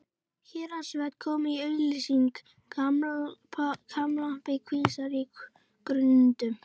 Héraðsvötn komu í augsýn, glampandi kvíslar á grundum.